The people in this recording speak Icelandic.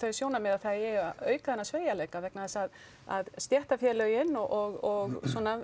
sjónarmið að það eigi að auka þennan sveigjanleika vegna þess að að stéttarfélögin og